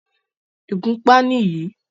ìgúnpá nì yí.